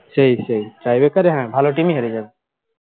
সেই সেই tie breaker এ হ্যাঁ ভালো team হেরে যাবে